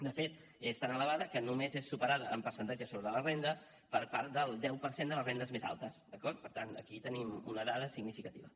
de fet és tan elevada que només és superada en percentatge sobre la renda per part del deu per cent de les rendes més altes d’acord per tant aquí tenim una dada significativa